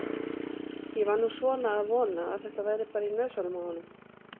Ég var nú svona að vona að þetta væri bara í nösunum á honum.